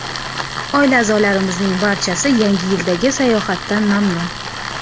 Oila a’zolarimizning barchasi Yangi yildagi sayohatdan mamnun.